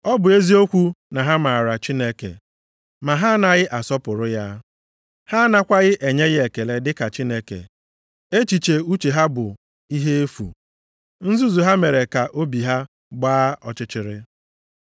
Ọ bụ eziokwu na ha maara Chineke, ma ha anaghị asọpụrụ ya, ha anakwaghị enye ya ekele dịka Chineke. Echiche uche ha bụ ihe efu, nzuzu ha mere ka obi ha gbaa ọchịchịrị.